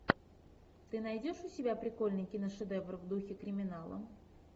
ты найдешь у себя прикольный киношедевр в духе криминала